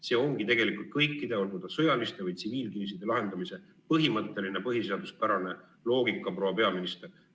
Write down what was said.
See ongi tegelikult kõikide, olgu sõjaliste või tsiviilkriiside lahendamise põhimõtteline põhiseaduspärane loogika, proua peaminister!